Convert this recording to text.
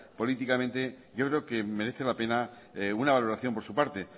políticamente yo creo que merece la pena una valoración por su parte